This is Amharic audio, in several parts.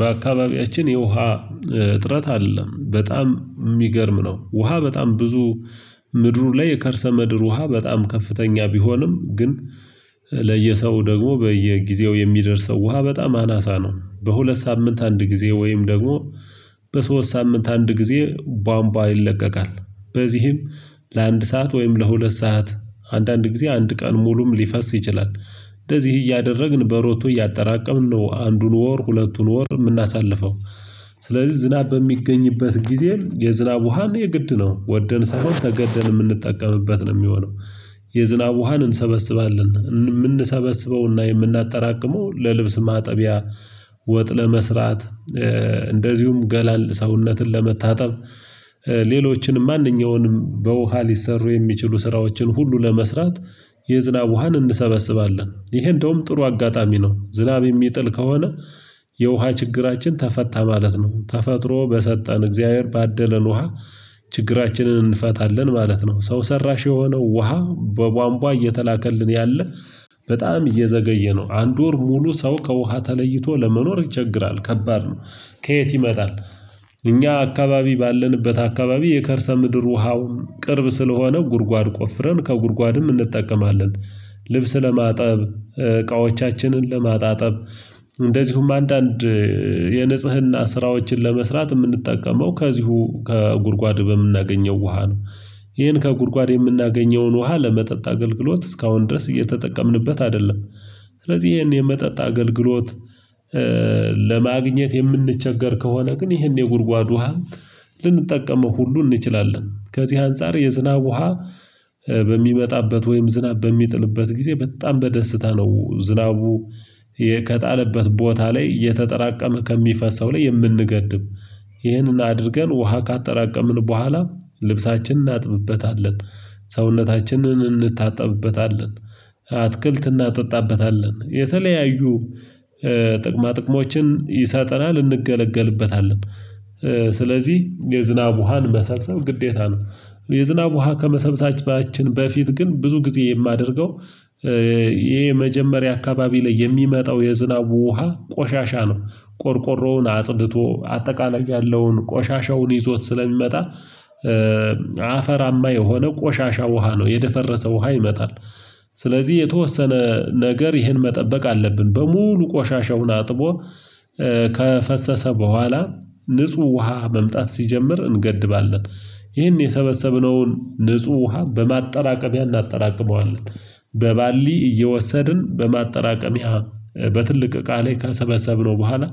በአካባቢያችን የውሃ እጥረት አይደለም በጣም የሚገርም ነው። ውሃ በጣም ብዙ ምድሩን ላይ የከርሰ ምድር ውሃ በጣም ከፍተኛ ቢሆንም ግን። ለየሰው ደግሞ በየጊዜው የሚደርሰው ውሃ በጣም አናሳ ነው። በሁለት ሳምንት አንድ ጊዜ ወይም ደግሞ በሶስት ሳምንት አንድ ጊዜ ቧምቧ ይለቀቃል። በዚህም ለአንድ ሰዓት ወይም ለሁለት ሰዓት አንዳንድ ጊዜ አንድ ቀን ሙሉም ሊፈስ ይችላል። እንደዚህ እያደረግን በሮቶ እያጠራቀምን ነው አንዱን ወር ሁለቱን ወር የምናሳልፈው። ስለዚህ ዝናብ በሚገኝበት ጊዜ የዝናብ ውሃን የግድ ነው ወደን ሳይሆን ተገደን የምንጠቀምበት ነው የሚሆነው። የዝናብ ውሃን እንሰበስባለን እምን የምንሰበስበውና የምናጠራቅመው ለልብስ ማጠቢያ። ወጥ ለመስራት። እንደዚሁም ገላን ሰውነትን ለመታጠብ። ሌሎችንም ማንኛውንም በውሃ ሊሠሩ የሚችሉ ስራዎችን ሁሉ ለመስራት። የዝናብ ውሃን እንሰበስባለን ይሄ እንደውም ጥሩ አጋጣሚ ነው። ዝናብ የሚጥል ከሆነ የውሃ ችግራችን ተፈታ ማለት ነው። ተፈጥሮ በሰጠን እግዚአብሔር ባደለን ውሃ። ችግራችንን እንፈታለን ማለት ነው። ሰው ሰራሽ የሆነው ውሃ በቧንቧ እየተላከልን ያለ በጣም እየዘገየ ነው አንድ ወር ሙሉ ሰው ከውሃ ተለይቶ ለመኖር ይቸግራል ከባድ ነው። ከየት ይመጣል? እኛ አካባቢ ባለንበት አካባቢ የከርሰ ምድር ውሃውም ቅርብ ስለሆነው ጉድጓድ ቆፍረን ከጉድጓድም እንጠቀማለን። ልብስ ለማጠብ እቃዎቻችንን ለማጣጠብ። እንደዚሁም አንዳንድ የንጽህና ስራዎችን ለመስራት የምንጠቀመው ከዚሁ ከጉድጓድ በምናገኘው ውሃ ነው። ይሄን ከጉድጓድ የምናገኘውን ውሃ ለመጠጥ አገልግሎት እስካሁን ድረስ እየተጠቀምንበት አይደለም። ስለዚህ ይሄን የመጠጥ አገልግሎት ለማግኘት የምንቸገር ከሆነ ግን ይሄን የጉድጓድ ውሃ። ልንጠቀመው ሁሉ እንችላለን። ከዚህ አንፃር የዝናብ ውሃ። በሚመጣበት ወይም ዝናብ በሚጥልበት ጊዜ በጣም በደስታ ነው። ዝናቡ የ ከጣለበት ቦታ ላይ እየተጠራቀመ ከሚፈሰው ላይ የምንገድብ። ይህንን አድርገን ውሃ ካጠራቀምን በኋላ ልብሳችንን እናጥብበታለን። ሰውነታችንን እንታጠብበታለን። አትክልት እናጠጣበታለን የተለያዩ ጥቅማ ጥቅሞችን ይሰጠናል እንገለገልበታለን። ስለዚህ የዝናብ ውሃን መሰብሰብ ግዴታ ነው። የዝናብ ውሃ ከመሰብሰባችን በፊት ግን ብዙ ጊዜ የማደርገው የ የመጀመሪያ አካባቢ ላይ የሚመጣው የዝናቡ ውሃ ቆሻሻ ነው። ቆርቆሮውን አጽድቶ አጠቃላይ ያለውን ቆሻሻውን ይዞት ስለሚመጣ። አፈራማ የሆነ ቆሻሻ ውሃ ነው የደፈረሰ ውሃ ይመጣል። ስለዚህ የተወሰነ ነገር ይህን መጠበቅ አለብን በሙሉ ቆሻሻውን አጥቦ። ከፈሰሰ በኋላ ንጹህ ውሃ መምጣት ሲጀምር እንገድባለን። ይህን የሰበሰብነውን ንጹህ ውሃ በማጠራቀሚያ እናጠራቅመዋለን። በባልዲ እየወሰድን በማጠራቀሚያ በትልቅ እቃ ላይ ከሰበሰብነው በኋላ።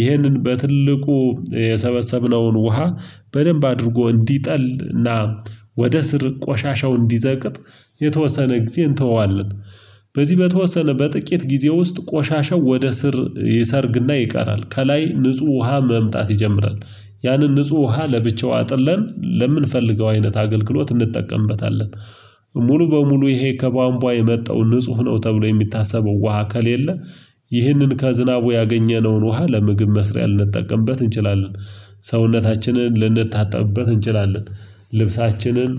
ይሄንን በትልቁ የሰበሰብነውን ውሃ በደንብ አድርጎ እንዲጠል እና ወደ ስር ቆሻሻው እንዲዘቅጥ የተወሰነ ጊዜ እንተወዋለን። በዚህ በተወሰነ በጥቂት ጊዜ ውስጥ ቆሻሻው ወደ ስር ይሰርግና ይቀራል ከላይ ንጹህ ውሃ መምጣት ይጀምራል። ያንን ንጹህ ውሃ ለብቻው አጥለን ለምንፈልገው አይነት አገልግሎት እንጠቀምበታለን። ሙሉ በሙሉ ይሄ ከቧንቧ የመጣው ንጹህ ነው ተብሎ የሚታሰበው ውሃ ከሌለ። ይህንን ከዝናቡ ያገኘነውን ውሃ ለምግብ መስሪያ ልንጠቀምበት እንችላለን። ሰውነታችንን ልንታጠብበት እንችላለን። ልብሳችንን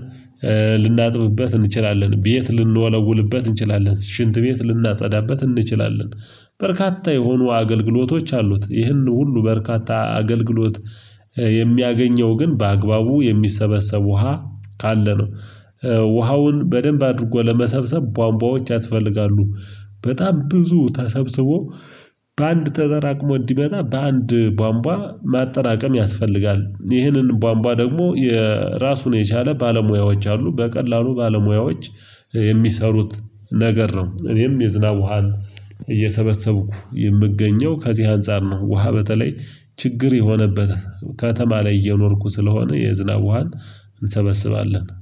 ልናጥብበት እንችላለን ቤት ልንወለውልበት እንችላለን ሽንት ቤት ልናጸዳበት እንችላለን። በርካታ የሆኑ አገልግሎቶች አሉት ይህን ሁሉ በርካታ አገልግሎት የሚያገኘው ግን በአግባቡ የሚሰበሰብ ውሃ ካለ ነው። ውሃውን በደንብ አድርጎ ለመሰብሰብ ቧንቧዎች ያስፈልጋሉ። በጣም ብዙ ተሰብስቦ በአንድ ተጠራቅሞ እንዲመጣ በአንድ ቧንቧ ማጠራቀም ያስፈልጋል። ይህንን ባንቧ ደግሞ የራሱን የቻለ ባለሙያዎች አሉ በቀላሉ ባለሙያዎች የሚሰሩት ነገር ነው። እኔም የዝናብ ውሃን እየሰበሰብኩ የምገኘው ከዚህ አንፃር ነው። ውሃ በተለይ ችግር የሆነበት ከተማ ላይ እየኖርኩ ስለሆነ የዝናብ ውሃን እንሰበስባለን